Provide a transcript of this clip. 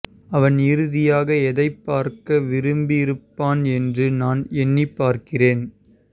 அவன் இறுதியாக எதை பார்க்க விரும்பியிருப்பான் என்று நான் எண்ணிப் பார்க்கிறேன்